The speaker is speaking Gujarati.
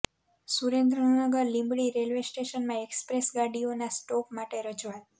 સુરેન્દ્રનગર લીંબડી રેલવે સ્ટેશનમાં એકસપ્રેસ ગાડીઓનાં સ્ટોપ માટે રજુઆત